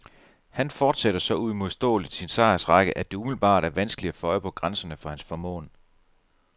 Han fortsætter så uimodståeligt sin sejrsrække, at det umiddelbart er vanskeligt at få øje på grænserne for hans formåen.